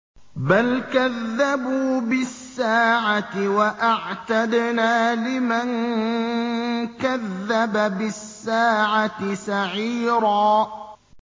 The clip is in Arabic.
بَلْ كَذَّبُوا بِالسَّاعَةِ ۖ وَأَعْتَدْنَا لِمَن كَذَّبَ بِالسَّاعَةِ سَعِيرًا